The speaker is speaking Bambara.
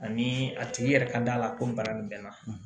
Ani a tigi yɛrɛ ka d'a la ko nin bana bɛ n na